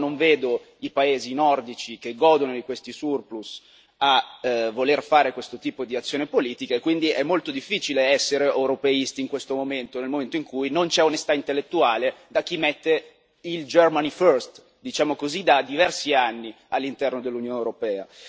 Però non vedo i paesi nordici che godono di questi surplus a voler fare questo tipo di azione politica e quindi è molto difficile essere europeisti in questo momento, nel momento in cui non c'è onestà intellettuale da parte di chi mette il Germany first diciamo così da diversi anni all'interno dell'Unione europea.